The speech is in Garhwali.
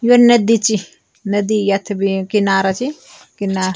यो नदी च नदी यत बि किनारा च किना --